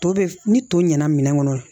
To be ni to ɲɛna